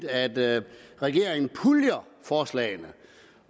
at regeringen puljer forslagene